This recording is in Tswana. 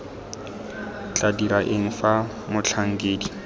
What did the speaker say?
tla dira eng fa motlhankedi